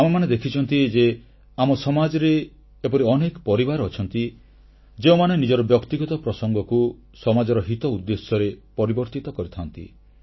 ଆମେ ଦେଖିଛୁ ଯେ ଆମ ସମାଜରେ ଏପରି ଅନେକ ପରିବାର ଅଛନ୍ତି ଯେଉଁମାନେ ନିଜର ବ୍ୟକ୍ତିଗତ ପ୍ରସଙ୍ଗକୁ ସମାଜର ହିତ ଉଦ୍ଦେଶ୍ୟରେ ପରିବର୍ତ୍ତିତ କରିଥାନ୍ତି